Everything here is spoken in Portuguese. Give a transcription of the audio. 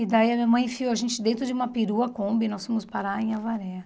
E daí a minha mãe enfiou a gente dentro de uma perua Kombi e nós fomos parar em Avaré.